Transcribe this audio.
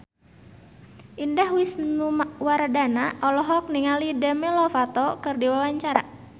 Indah Wisnuwardana olohok ningali Demi Lovato keur diwawancara